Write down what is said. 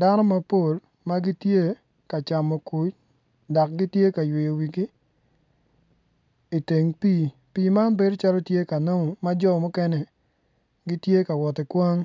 Dano mapol ma gitye ka camo kuc dok gitye ka yweyo wigi i teng pii, pii man bedo calo kanamu ma jo mukene gitye ka wot ki kwan